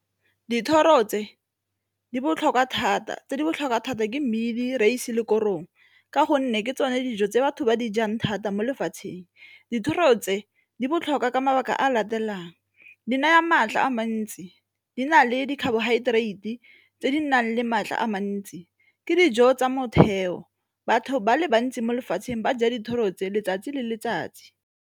Dithoro tse di botlhokwa thata, tse di botlhokwa thata ke mmidi, reise le korong ka gonne ke tsone dijo tse batho ba dijang thata mo lefatsheng. Dithoro tse di botlhokwa ka mabaka a di naya maatla a mantsi, di na le di-carbohydrates tse di nang le maatla a mantsi, ke dijo tsa motheo. Batho ba le bantsi mo lefatsheng ba ja dithoro tse letsatsi le letsatsi.